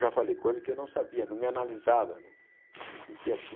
Já falei, coisa que eu não sabia, não me analisava, não me sentia assim.